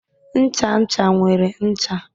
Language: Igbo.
Ncha ncha nwere ncha